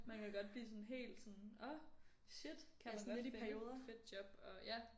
Man kan godt blive sådan helt sådan åh shit kan man godt finde et fedt job og ja